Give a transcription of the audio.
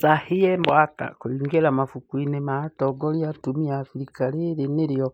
Sahle-Work kũingira mabukuinĩ ma atongoria atumia Afrika rĩrĩ nĩrĩo